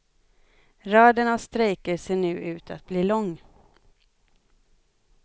Raden av strejker ser nu ut att bli lång.